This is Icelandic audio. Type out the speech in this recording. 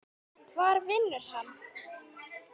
Hvar vinnur hann?